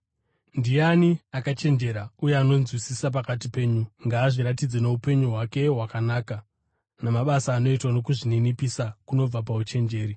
Ndiani akachenjera uye anonzwisisa pakati penyu? Ngaazviratidze noupenyu hwake hwakanaka, namabasa anoitwa nokuzvininipisa kunobva pauchenjeri.